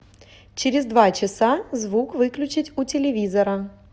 через два часа звук выключить у телевизора